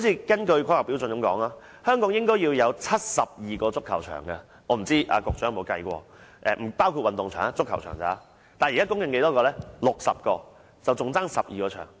根據《規劃標準》，香港應該要有72個足球場，我不知局長曾否計算過，這只是足球場的數字，不包括運動場。